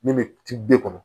Min bɛ ci bɛɛ kɔnɔ